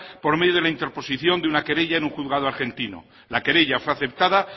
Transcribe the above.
por medio de la interposición de una querella en un juzgado argentino la querella fue aceptada